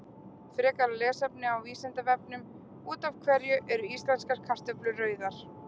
Frekara lesefni á Vísindavefnum: Út af hverju eru íslenskar kartöflur rauðar?